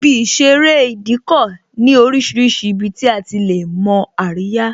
Ibi ìṣeré Ìdíkọ̀ ní orísìírísìí ibi tí a ti lè mo àríyá